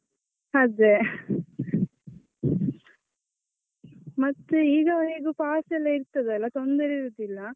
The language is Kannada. ಅದೇ ಮತ್ತೆ ಈಗ ಹೇಗೂ pass ಎಲ್ಲಾ ಇರ್ತದಲ್ಲ ತೊಂದರೆ ಇರುದಿಲ್ಲ.